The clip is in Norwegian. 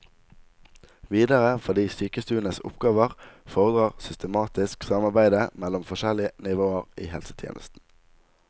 Videre fordi sykestuenes oppgaver fordrer systematisk samarbeide mellom forskjellige nivåer i helsetjenesten.